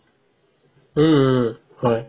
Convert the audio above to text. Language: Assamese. উম উম হয়